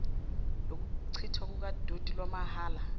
lokuchithwa kukadoti lwamahhala